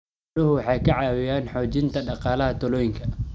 Xooluhu waxay ka caawiyaan xoojinta dhaqaalaha tuulooyinka.